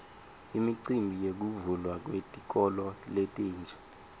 imicimbi yekuvulwa kwetikolo letintsa